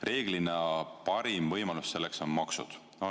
Reeglina parim võimalus selleks on maksud.